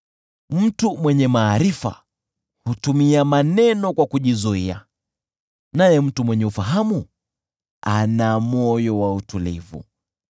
Mtu mwenye maarifa hutumia maneno kwa kujizuia, naye mtu mwenye ufahamu ana moyo wa utulivu.